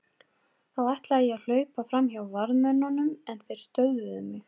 Þá ætlaði ég að hlaupa fram hjá varðmönnunum en þeir stöðvuðu mig.